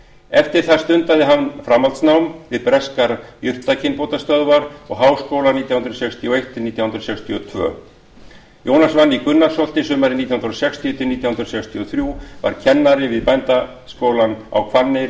eftir það stundaði hann framhaldsnám við breskar jurtakynbótastöðvar og háskóla nítján hundruð sextíu og eitt til nítján hundruð sextíu og tvö jónas vann í gunnarsholti sumrin nítján hundruð sextíu til nítján hundruð sextíu og þrjú var kennari við bændaskólann á hvanneyri